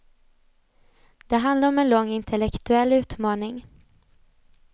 Det handlar om en lång intellektuell utmaning.